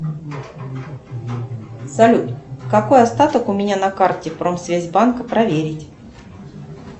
салют какой остаток у меня на карте промсвязьбанк проверить